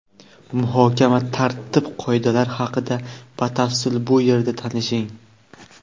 Muhokama tartib-qoidalari haqida batafsil bu yerda tanishing.